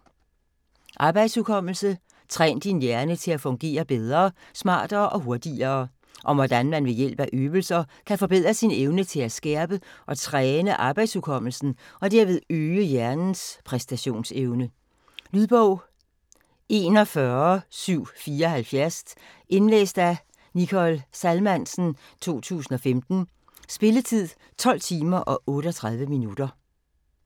Arbejdshukommelse: træn din hjerne til at fungere bedre, smartere og hurtigere Om hvordan man ved hjælp af øvelser kan forbedre sin evne til at skærpe og træne arbejdshukommelsen og derved øge hjernens præstationsevne. Lydbog 41574 Indlæst af Nicole Salmansen, 2015. Spilletid: 12 timer, 38 minutter.